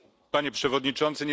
Panie Przewodniczący!